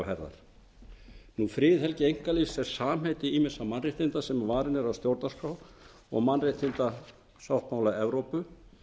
á herðar friðhelgi einkalífs er safnheiti ýmissa mannréttinda sem varin eru af stjórnarskrá mannréttindasáttmála evrópu